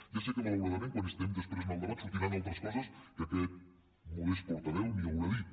ja sé que malauradament quan estiguem després en el debat sortiran altres coses que aquest modest portaveu ni haurà dit